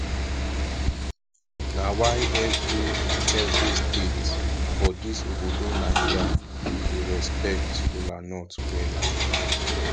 na why evri evri state for dis obodo naija dey respekt kolanut wella